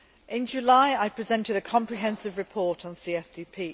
In July, I presented a comprehensive report on CSDP.